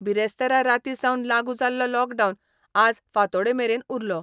बिरेस्तारा रातीं सावन लागू जाल्लो लॉकडावन आज फांतोडेर मेरेन उरलो.